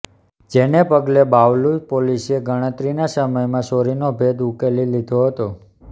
જેને પગલે બાવલુ પોલીસે ગણતરીના સમયમાં ચોરીનો ભેદ ઉકેલી લીધો હતો